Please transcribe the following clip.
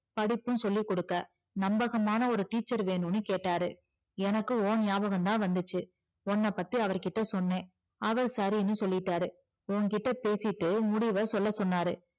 அடிப்பும் சொல்லிக்குடுக்க நம்பகமான ஒரு teacher வேணும்னு கேட்டாரு எனக்கு உன் ஞாபகம்தா வந்துச்சி உன்ன பத்தி அவருகிட்ட சொன்னே அவரு சரின்னு சொல்லிட்டாரு உன்கிட்ட பேசிட்டு முடிவ சொல்ல சொன்னாரு